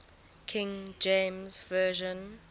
king james version